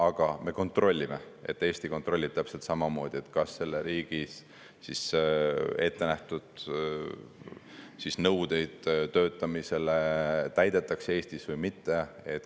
Aga me kontrollime, Eesti kontrollib täpselt samamoodi, kas selles riigis ette nähtud nõudeid töötamisele Eestis täidetakse või mitte.